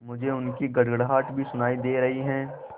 मुझे उनकी गड़गड़ाहट भी सुनाई दे रही है